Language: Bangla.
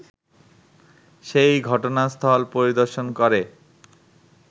সেই ঘটনাস্থল পরিদর্শন করে